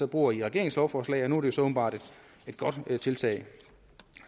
bruger i regeringens lovforslag nu er det så åbenbart et godt tiltag